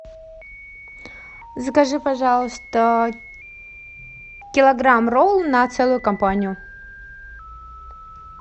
закажи пожалуйста килограмм ролл на целую компанию